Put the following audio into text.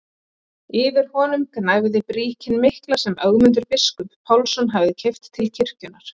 Yfir honum gnæfði bríkin mikla sem Ögmundur biskup Pálsson hafði keypt til kirkjunnar.